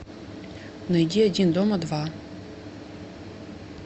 найди один дома два